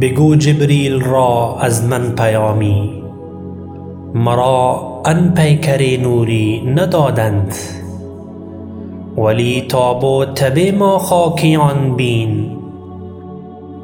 بگو جبریل را از من پیامی مرا آن پیکر نوری ندادند ولی تاب و تب ما خاکیان بین